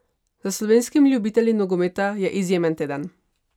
Za slovenskimi ljubitelji nogometa je izjemen teden!